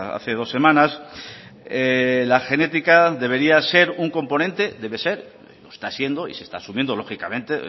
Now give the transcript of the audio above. hace dos semanas la genética debería ser un componente debe ser está siendo y se está asumiendo lógicamente